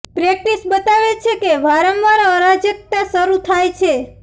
practice બતાવે છે કે વારંવાર અરાજકતા શરૂ થાય છે